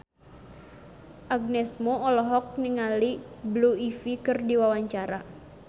Agnes Mo olohok ningali Blue Ivy keur diwawancara